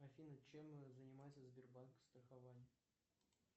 афина чем занимается сбербанк страхование